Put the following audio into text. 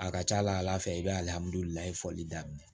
A ka ca ala fɛ i bɛ alihamudulilaye fɔli daminɛ